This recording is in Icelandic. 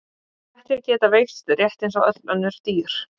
Kettir geta veikst rétt eins og öll önnur dýr.